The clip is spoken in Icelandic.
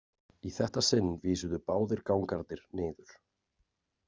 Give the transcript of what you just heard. Í þetta sinn vísuðu báðir gangarnir niður.